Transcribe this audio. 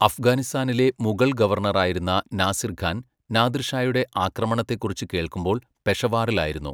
അഫ്ഗാനിസ്ഥാനിലെ മുഗൾ ഗവർണറായിരുന്ന നാസിർ ഖാൻ, നാദിർഷായുടെ ആക്രമണത്തെക്കുറിച്ച് കേൾക്കുമ്പോൾ പെഷവാറിലായിരുന്നു.